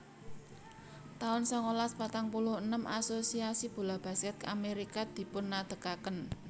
taun songolas patang puluh enem Asosiasi Bola Basket Amerika dipunadegaken